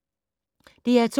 DR2